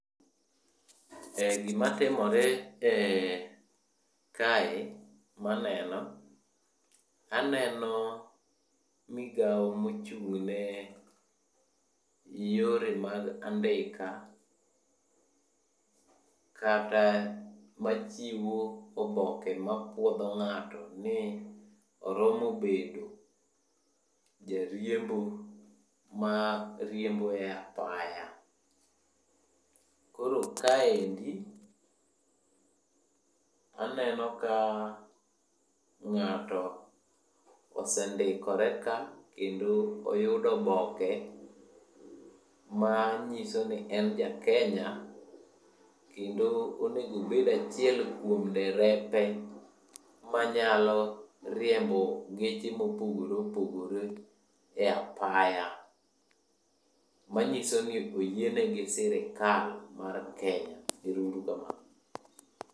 Gimatimore kae maneno, aneno migao mochung'ne yore mag andika kata machiwo oboke mapuodho ng'ato ni oromo bedo jariembo ma riembo e apaya. Koro kaendi, aneno ka ng'ato osendikore ka kendo oyudo oboke manyiso ni en ja Kenya. Kendo onegobed achiel kuom derepe manyalo riembo geche mopogore opogore e apaya. Manyiso ni oyiene gi sirikal mar Kenya. Ero uru kamano.